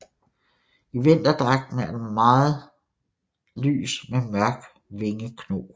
I vinterdragten er den meget lys med mørk vingekno